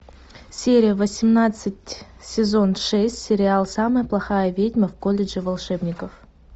серия восемнадцать сезон шесть сериал самая плохая ведьма в колледже волшебников